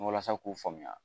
Walasa k'u faamuya